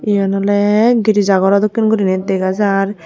iyen oley girija gorw dokkenuri dega jaar.